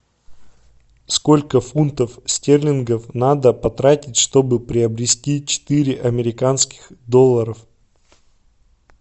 сколько фунтов стерлингов надо потратить чтобы приобрести четыре американских долларов